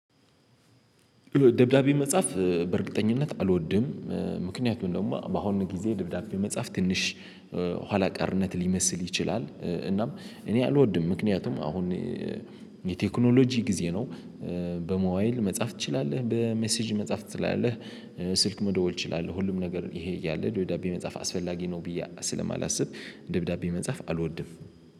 ደብዳቤ መጻፍ በእርግጠኝነት አልወድም ምክንያቱም ደግሞ በአሁኑ ጊዜ ደብዳቤ መጻፍ ትንሽ ኋላቀርነት ሊመስል ይችላል። እናም እኔ አልወድም ምክንያቱም አሁን የቴክኖሎጂ ጊዜ ነው። በሞባይል መጻፍ ትችላለህ በሜሴጅ መጻፍ ትችላለህ። ስልክ መደወል እችላለሁ ሁሉም ነገር ይሄ እያለ ደብዳቤ መጻፍ አስፈላጊ ነው ብዬ ስለማላስብ። ደብዳቤ መጻፍ አልወድም።